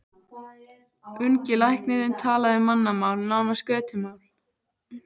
Ungi læknirinn talaði mannamál, nánast götumál.